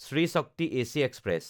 Shri Shakti AC express